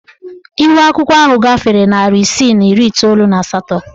Ihuakwụkwọ ahụ gafere narị isii na iri iteolu na asatọ.